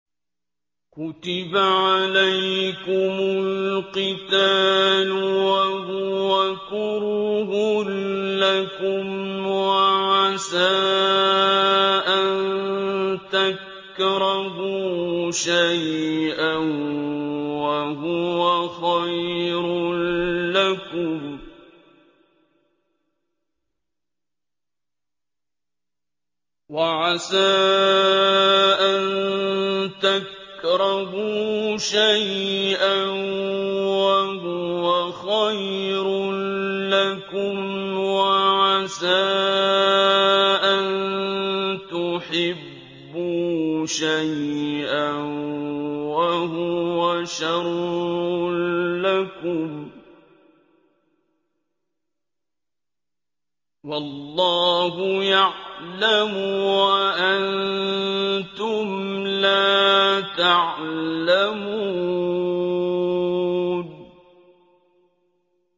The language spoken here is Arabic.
كُتِبَ عَلَيْكُمُ الْقِتَالُ وَهُوَ كُرْهٌ لَّكُمْ ۖ وَعَسَىٰ أَن تَكْرَهُوا شَيْئًا وَهُوَ خَيْرٌ لَّكُمْ ۖ وَعَسَىٰ أَن تُحِبُّوا شَيْئًا وَهُوَ شَرٌّ لَّكُمْ ۗ وَاللَّهُ يَعْلَمُ وَأَنتُمْ لَا تَعْلَمُونَ